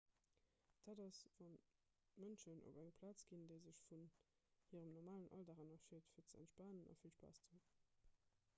dat ass wann d'mënschen op eng plaz ginn déi sech vun hirem normalen alldag ënnerscheet fir ze entspanen a vill spaass ze hunn